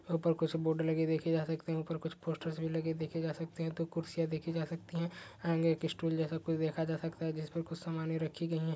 उपर कुछ बोतले लगे देखे जा सकते है। उपर कुच्छ पोस्टरर्स भी लगे देखे जा सकते है। दो खुरसियाँ देखि जा सकती है। आगे की स्टूल जैसा कुच्छ देखा जा सकता है जिसमे कुछ सामाने रखी गई है।